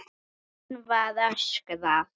Enn var öskrað.